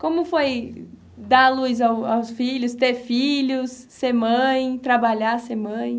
Como foi dar a luz ao aos filhos, ter filhos, ser mãe, trabalhar, ser mãe?